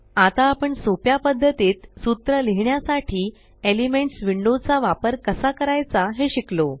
आता आपण सोप्या पद्धतीत सूत्र लिहिण्यासाठी एलिमेंट्स विंडो चा वापर कसा करायचा हे शिकलो